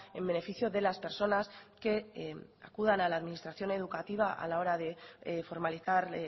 en beneficio de las personas que acudan a la administración educativa a la hora de formalizar